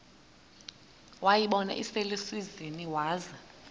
wayibona iselusizini waza